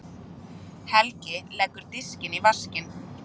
Helgi leggur diskinn í vaskinn.